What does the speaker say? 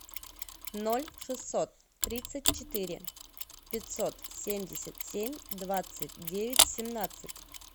ноль шестьсот тридцать четыре пятьсот семьдесят семь двадцать девять семнадцать